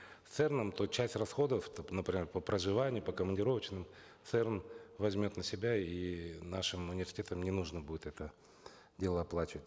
с церн ом то часть расходов например по проживанию по командировочным церн возьмет на себя и нашим университетам не нужно будет это дело оплачивать